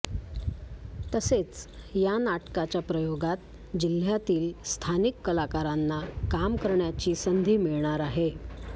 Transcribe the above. तसेच या नाटकाच्या प्रयोगात जिह्यातील स्थानिक कलाकारांना काम करण्याची संधी मिळणार आहे